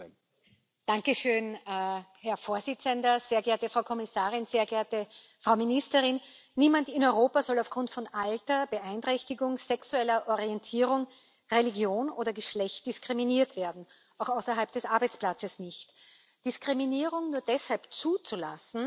Herr Präsident, sehr geehrte Frau Kommissarin, sehr geehrte Frau Ministerin! Niemand in Europa soll aufgrund von Alter, Beeinträchtigung, sexueller Orientierung, Religion oder Geschlecht diskriminiert werden, auch außerhalb des Arbeitsplatzes nicht. Diskriminierung nur deshalb zuzulassen, weil es so schwierig ist,